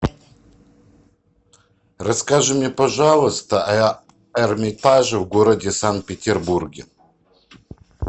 расскажи мне пожалуйста об эрмитаже в городе санкт петербурге